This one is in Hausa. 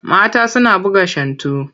Mata suna buga shantu.